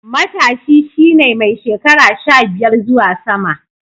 Matashi shi ne mai shekara sha biyar zuwa sama.